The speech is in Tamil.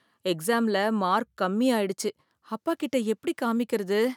எக்ஸாம்ல மார்க் கம்மி ஆயிடுச்சு அப்பாகிட்ட எப்படி காமிக்கிறது?